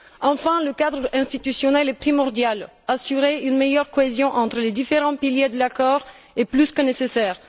Enfin, le cadre institutionnel est primordial. Assurer une meilleure cohésion entre les différents piliers de l'accord est plus que nécessaire.